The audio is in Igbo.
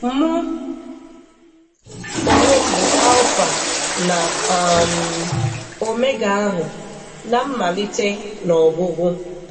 Mụ onwem bu Alfa na um Omega ahu, n\nmmalite na ọgwụgwụ.